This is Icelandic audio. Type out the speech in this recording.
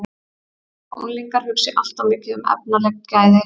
Mér finnst líka að unglingar hugsi allt of mikið um efnaleg gæði.